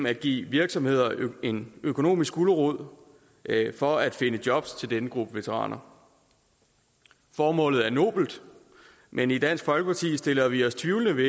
at give virksomheder en økonomisk gulerod for at finde jobs til denne gruppe veteraner formålet er nobelt men i dansk folkeparti stiller vi os tvivlende